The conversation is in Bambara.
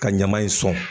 Ka ɲama in sɔn